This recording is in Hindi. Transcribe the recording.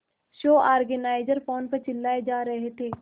शो ऑर्गेनाइजर फोन पर चिल्लाए जा रहे थे